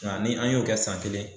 Nga ni an y'o kɛ san kelen